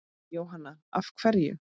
Jóhanna: Af hverju?